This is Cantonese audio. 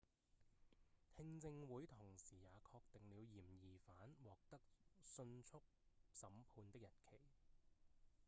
聽證會同時也確定了嫌疑犯獲得訊速審判的日期